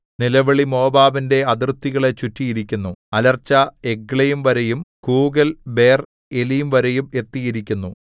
നിലവിളി മോവാബിന്റെ അതിർത്തികളെ ചുറ്റിയിരിക്കുന്നു അലർച്ച എഗ്ലയീംവരെയും കൂകൽ ബേർഏലീംവരെയും എത്തിയിരിക്കുന്നു